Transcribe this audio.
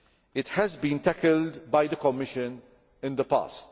It has been tackled by the Commission in the past.